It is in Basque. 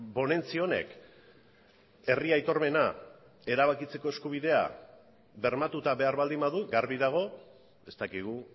ponentzia honek herri aitormena erabakitzeko eskubidea bermatuta behar baldin badu garbi dago ez dakigu